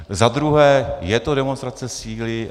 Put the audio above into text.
Za druhé - je to demonstrace síly.